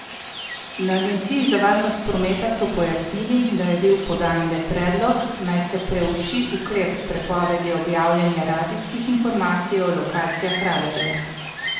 Na agenciji za varnost prometa so pojasnili, da je bil podan le predlog, naj se preuči ukrep prepovedi objavljanja radijskih informacij o lokacijah radarjev.